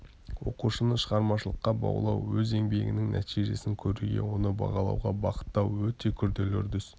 оқушыны шығармашылыққа баулу өз еңбегінің нәтижесін көруге оны бағалауға бағыттау-өте күрделі үрдіс